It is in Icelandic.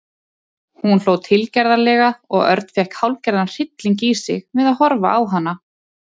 Hún hló tilgerðarlega og Örn fékk hálfgerðan hrylling í sig við að horfa á hana.